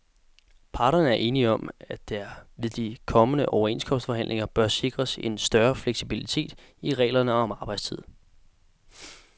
Parterne er enige om, at der ved de kommende overenskomstforhandlinger bør sikres en større fleksibilitet i reglerne om arbejdstid.